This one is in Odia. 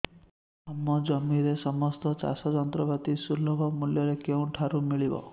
ଆମ ଜିଲ୍ଲାରେ ସମସ୍ତ ଚାଷ ଯନ୍ତ୍ରପାତି ସୁଲଭ ମୁଲ୍ଯରେ କେଉଁଠାରୁ ମିଳିବ